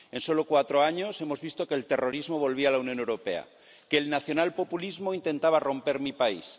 en solo cuatro años hemos visto que el terrorismo volvía a la Unión Europea que el nacionalpopulismo intentaba romper mi país